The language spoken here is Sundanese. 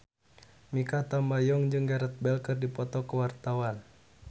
Mikha Tambayong jeung Gareth Bale keur dipoto ku wartawan